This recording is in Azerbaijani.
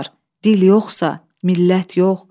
Dil yoxsa, millət yox.